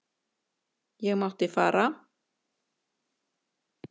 Ég mátti fara.